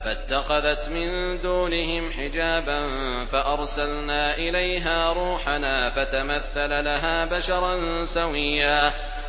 فَاتَّخَذَتْ مِن دُونِهِمْ حِجَابًا فَأَرْسَلْنَا إِلَيْهَا رُوحَنَا فَتَمَثَّلَ لَهَا بَشَرًا سَوِيًّا